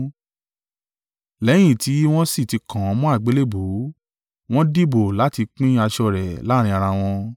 Lẹ́yìn tí wọ́n sì ti kàn án mọ́ àgbélébùú, wọ́n dìbò láti pín aṣọ rẹ̀ láàrín ara wọn.